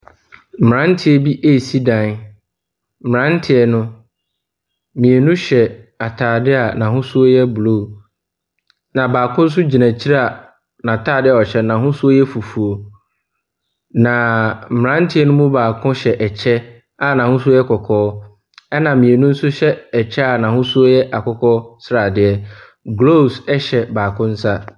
Mmeranteɛ bi resi dan. Mmeranteɛ no, mmienu hyɛ atadeɛ a n'ahosuo yɛ blue, na baako nso gyina akyire a n'atadeɛ ɔhyɛ no, n'ahosuo yɛ fufuo, na mmeranteɛ no mu baako hyɛ kyɛ a n'ahosuo yɛ kɔkɔɔ, ɛnna mmienu nso hyɛ kyɛ n'ahosuo yɛ akokɔ sradeɛ. Gloves hyɛ baako nsa.